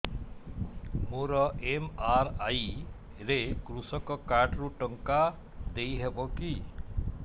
ମୋର ଏମ.ଆର.ଆଇ ରେ କୃଷକ କାର୍ଡ ରୁ ଟଙ୍କା ଦେଇ ହବ କି